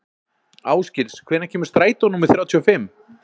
Ásgils, hvenær kemur strætó númer þrjátíu og fimm?